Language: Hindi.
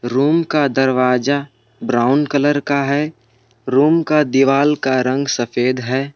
रूम का दरवाजा ब्राउन कलर का है रूम का दीवार का रंग सफेद है।